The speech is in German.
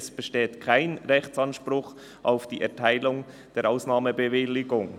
«Es besteht kein Rechtsanspruch auf die Erteilung einer Ausnahmebewilligung.